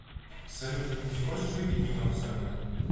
салют не хочешь выпить немного со мной